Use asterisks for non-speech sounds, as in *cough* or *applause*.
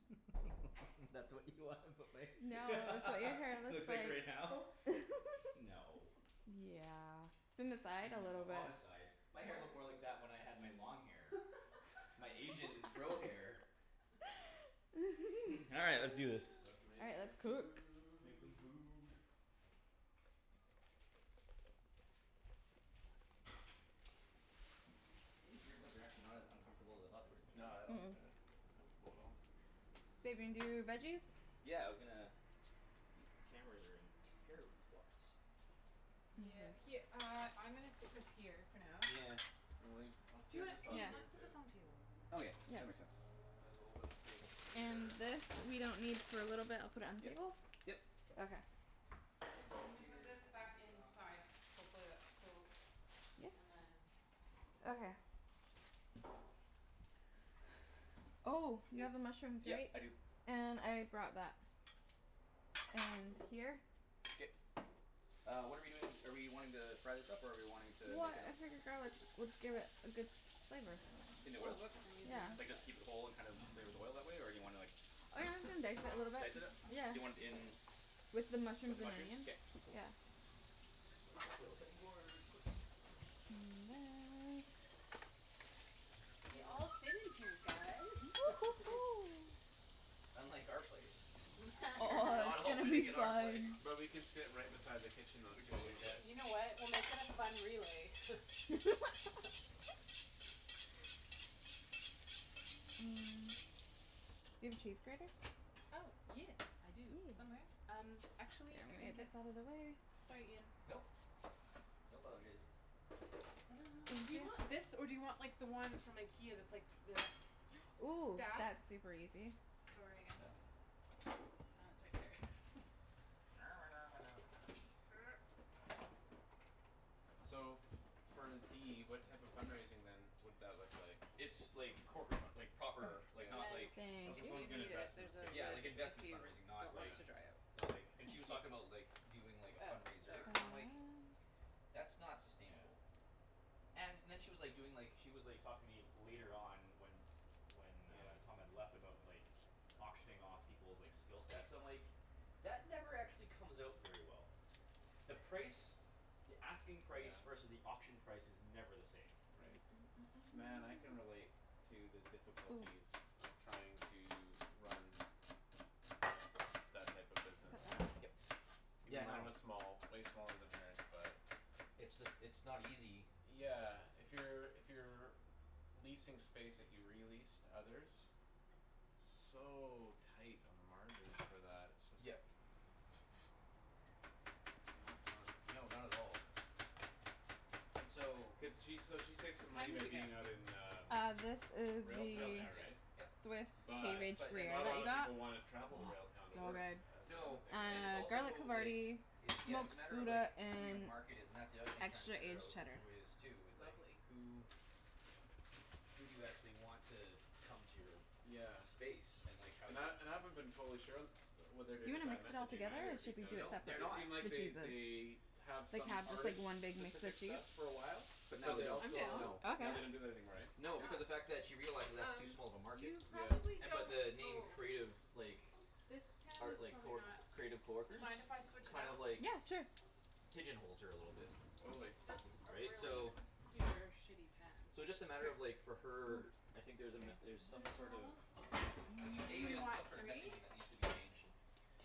*laughs* That's what you wanna put my No it's what your hair *laughs* looks looks like like. right now? *laughs* No. Yeah *laughs* in the side a No, little bit. on the sides. My hair looked more What? like that when I had my long hair. My Asian fro hair. *laughs* *noise* All right let's do this. Let's *laughs* All right, make let's cook. Make some food. food. These earbuds are actually not as uncomfortable as I thought they were No gonna I don't be. Mm- think mm. they're comfortable at all. Babe, you wanna do th- veggies? Yeah, I was gonna These cameras are in terrible spots. Yeah, her- uh I'm gonna stick this here for now. Yeah. And leave I'll clear Do it this off Yeah. Ian, for you let's put this too. on the table. Okay, Yeah. that makes sense. And there's a little bit of space And here. this we don't need for a little bit I'll put it on Yep, table? yep. Okay. Ends are I'm gonna put this here, ready back to rock. inside. Hopefully that's cool Yeah. and then Okay. Oh you have the Oops. mushrooms Yeah, right? I do. And I brought that. And here. K. Uh what're we doing are we wanting to fry this up or are we wanting to make What it I figured garlic *inaudible* would give it a good flavor. In the oil? Oh oops, I'm using Yeah. Like this side. just keep it whole and just kind of flavor the oil that way or do you wanna like Oh yeah I was gonna dice it a little Dice it up? Do you want bit. it in With the With mushrooms the and mushrooms? onions, K, cool. yeah. Gonna steal a cutting board quick. *noise* And that We all So fit in here guys *laughs* *noise* *noise* Unlike our place. We are Oh not all *laughs* it's gonna fitting be in our place. fun. But we can sit right beside the kitchen though We too in totally your place. can. You know what? We'll make it a fun relay *laughs* *laughs* *noise* Do you have a cheese grater? Oh yeah I do Yeah. somewhere um I'm actually I gonna get think this it's outta the way sorry Ian. Nope. No apologize. *noise* Do you want this Inject. or do you want the one from Ikea that's like the Ooh, that? that's super easy. Sorry again. No. Uh it's right here *laughs* *noise* *noise* So for D what type of fund raising then would that look like? It's like corporate fund- *noise* like proper like And not then like Yeah Oh so if someone's you Thank you. gonna need it invest in the there's a States, Yeah lid like basically. if investment you fundraising, not don't want like it Yeah. to dry out. Not like and Yeah. she was talking about like doing like a Uh fundraiser no and I'm like Um. "That's not sustainable" And then she was like doing like she was like talking to me later on when When uh Yeah. Tom had left about like Auctioning off peoples' like skill sets I'm like "That never actually comes out very well." The price the asking price versus Yeah. the auction price is never the same. Right. Man I can relate *noise* to the Ooh. difficulties of trying to run That type of business. Look at Yep. that. Even Yeah no. mine was small way smaller than hers but It's just it's not easy. Yeah, if you're if you're Leasing space that you re-lease to others. So tight on the margins for that. It's just Yep. Not fun. No, not at all. And so. Cuz she s- she saves What money kind by did you get? being out in um Uh this is Railtown the Railtown, there yep right? yep. Swiss cave But aged But gruyere it's not a that kinda we lotta got. people wanna Oh travel to Railtown to so work good. as the other No thing right? and it's Uh, garlic also like havarti, It's yeah it's a smoked matter of like gouda, who your and market is and that's the other thing tryin' to extra figure aged out cheddar. who it is too it's like Lovely. who *noise* who do you actually want to come to your Yeah. space and like how And do I you and I haven't been totally sure and st- what they're Do doing you with wanna I mix it all messaging together or either should we They because do it don't. They're separate? It not. seemed like The they they cheeses. have Like some have just like artist one big mix specific of cheese? stuff for a while. But I'm But now they they don't, down also no. with Okay. now they that. don't do that anymore eh? Why No not? because of fact that she realizes that's too Um small of a market. you probably Yeah. And but don't the name oh Creative like This pan is Art like probably not. creative coworkers? Mind if I switch it Kind out? of like Yeah sure. Pigeon holes her a little bit. Totally. It's just a Right? really So super shitty pan So *laughs* just a matter of like for her I think there's a There's met- er some this sort of one. Do A you there's want some sort of three? messaging that needs to be changed.